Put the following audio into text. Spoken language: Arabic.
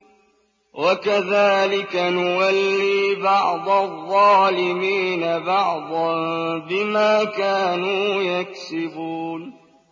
وَكَذَٰلِكَ نُوَلِّي بَعْضَ الظَّالِمِينَ بَعْضًا بِمَا كَانُوا يَكْسِبُونَ